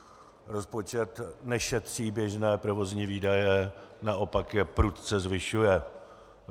Rozpočet nešetří běžné provozní výdaje, naopak je prudce zvyšuje.